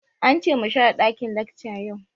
Ance mu share ɗakin lacca yau